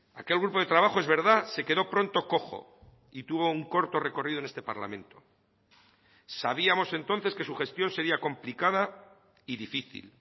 aquel grupo de trabajo es verdad se quedó pronto cojo y tuvo un corto recorrido en este parlamento sabíamos entonces que su gestión sería complicada y difícil